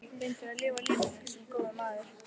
Reyndu að lifa lífinu- sem góður maður.